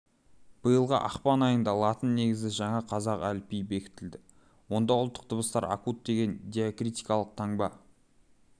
биылғы ақпан айында латын негізді жаңа қазақ әліпбиі бекітілді онда ұлттық дыбыстар акут деген диакритикалық таңба